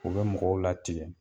U bɛ mɔgɔw latigɛ